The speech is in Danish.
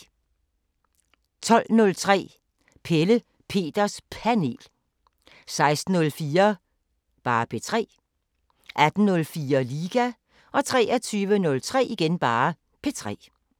12:03: Pelle Peters Panel 16:04: P3 18:04: Liga 23:03: P3